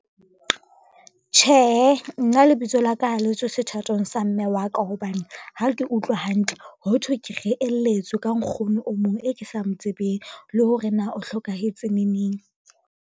Tjhehe, nna lebitso la ka ha le tswe sethatong sa mme wa ka hobane ha ke utlwe hantle, ho thwe ke reheletswe ka nkgono o mong e ke sa mo tsebeng le hore na o hlokahetse neneng.